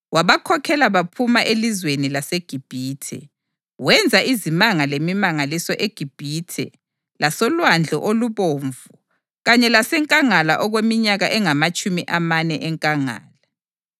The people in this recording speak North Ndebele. Wabakhokhela baphuma elizweni laseGibhithe, wenza izimanga lemimangaliso eGibhithe lasolwandle olubomvu kanye lasenkangala okweminyaka engamatshumi amane enkangala.